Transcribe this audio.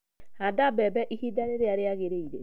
Handa mbembe ihinda rĩrĩa rĩagĩrĩire